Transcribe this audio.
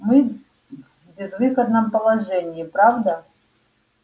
мы в безвыходном положении правда